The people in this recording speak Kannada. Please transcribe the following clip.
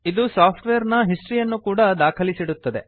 ಇದು ಸಾಫ್ಟ್ವೇರ್ ನ ಹಿಸ್ಟರಿ ಯನ್ನೂ ಕೂಡಾ ದಾಖಲಿಸಿಡುತ್ತದೆ